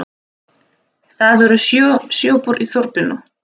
Það eru sjö sjoppur í þorpinu!